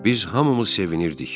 Biz hamımız sevinirdik.